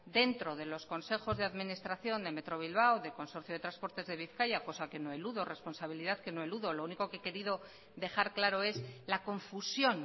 dentro de los consejos de administración de metro bilbao de consorcio de transporte de bizkaia cosa que no eludo responsabilidad lo único que he querido dejar claro es la confusión